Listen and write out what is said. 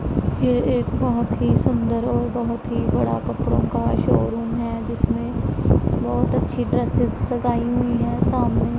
ये एक बहोत ही सुंदर और बहोत ही बड़ा कपड़ों का शोरूम है जिसमें बहोत अच्छी ड्रेसेस लगाई हुई है सामने--